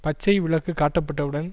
பச்சை விளக்கு காட்டப்பட்டவுடன்